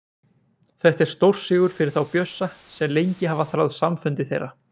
Þetta er stórsigur fyrir þá Bjössa sem lengi hafa þráð samfundi þeirra.